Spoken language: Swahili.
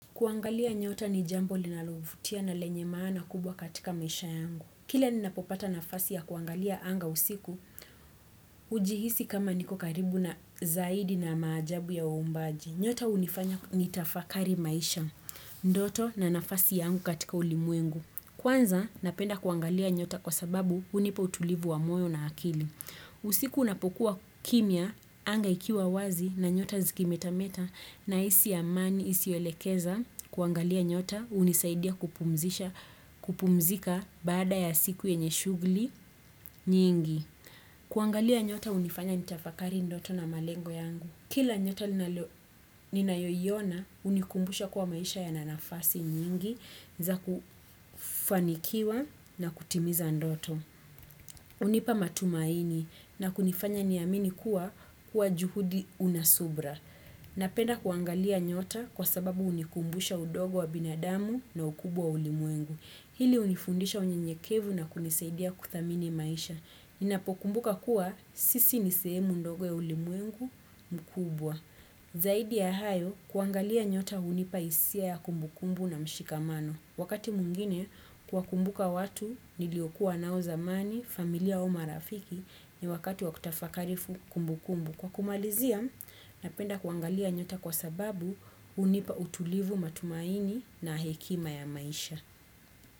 Kuangalia nyota ni jambo linalovutia na lenye maana kubwa katika maisha yangu. Kila ninapopata nafasi ya kuangalia anga usiku, hujihisi kama niko karibu na zaidi na maajabu ya umbaji. Nyota hunifanya nitafakari maisha, ndoto na nafasi yangu katika ulimwengu. Kwanza, napenda kuangalia nyota kwa sababu hunipa utulivu wa moyo na akili. Usiku unapokuwa kimia, anga ikiwa wazi na nyota zikimetameta, na hisi amani isiyo elekeza kuangalia nyota hunisaidia kupumzika baada ya siku yenye shughuli nyingi. Kuangalia nyota hunifanya nitafakari ndoto na malengo yangu. Kila nyota ninayo iona hunikumbusha kua maisha yana nafasi nyingi za kufanikiwa na kutimiza ndoto. Unipa matumaini na kunifanya ni amini kuwa kuwa juhudi unasubra. Napenda kuangalia nyota kwa sababu uhnikumbusha udogo wa binadamu na ukubwa wa ulimwengu. Hili hunifundisha unyenyekevu na kunisaidia kuthamini maisha. Ninapokumbuka kuwa sisi nisehemu ndogo ya ulimwengu mkubwa. Zaidi ya hayo kuangalia nyota hnipaisia ya kumbukumbu na mshikamano. Wakati mwingine kuwa kumbuka watu niliokuwa nao zamani familia au marafiki ni wakati wakutafakarifu kumbukumbu. Kwa kumalizia, napenda kuangalia nyota kwa sababu hunipa utulivu matumaini na hekima ya maisha.